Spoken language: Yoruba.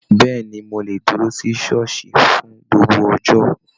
Béèni, mo le dúró sí ṣooṣi fún gbogbo ọjọ.